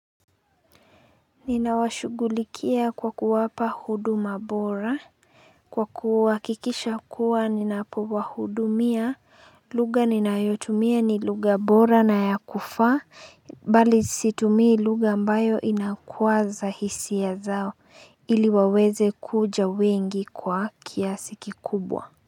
Ninawashugulikia kwa kuwapa huduma bora Kwa kuwa kikisha kuwa ninapo wahudumia lugha ninayotumia ni lugha bora na ya kufa bali situmi lugha ambayo inayokazwa hisi ya zao iliwaweze kuja wengi kwa kiasi kikubwa.